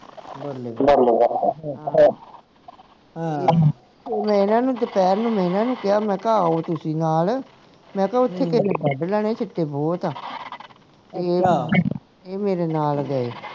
ਹਾਂ ਮੈਂ ਇਹਨਾਂ ਨੂੰ ਦੋਪਹਰ ਨੂੰ ਮੈਂ ਇਹਨਾਂ ਨੂੰ ਕਿਹਾ ਮੈਂ ਕਿਹਾ ਆਓ ਤੁਸੀਂ ਨਾਲ ਮੈਂ ਕਿਹਾ ਓਥੇ ਤੁਸੀਂ ਕੱਢ ਲੈਣੇ ਸਿੱਟੇ ਬਹੁਤ ਆ ਮੇਰੇ ਨਾਲ ਗਏ